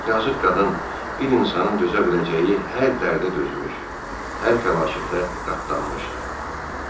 Yazıq qadın bir insanın dözə biləcəyi hər dərdə dözmüş, hər fəlakətə qatlanmışdı.